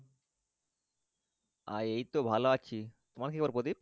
আর এই তো ভালো আছি তোমার কি খবর প্রদীপ